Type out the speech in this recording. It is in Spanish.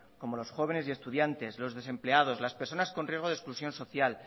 como los jóvenes y estudiantes los desempleados las personas con riesgo de exclusión social